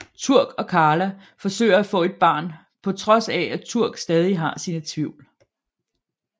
Turk og Carla forsøger at få et barn på trods af at Turk stadig har sine tvivl